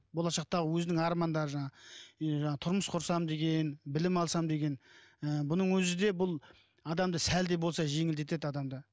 болашақта өзінің армандары жаңағы е жаңағы тұрмыс құрсам деген білім алсам деген ыыы бұның өзі де бұл адамды сәл де болса жеңілдетеді адамды